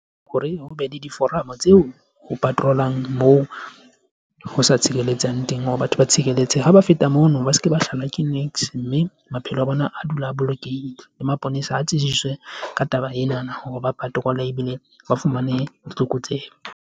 Hore ho be le diforomo tseo ho patrolang moo ho sa tshireletsang teng hore batho ba tshireletse ha ba feta mono, ba se ke ba hlolwa ke niks, mme maphelo a bona a dule a bolokehile le maponesa a tsibiswe ka taba ena na ba patroller ebile ba fumane ditlokotsebe.